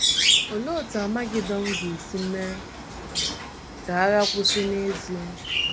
Olee otú Amagedọn ga-esi mee um ka agha kwụsị n’ezie?